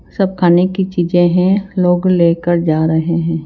सब खाने की चीजें है लोग लेकर जा रहे हैं।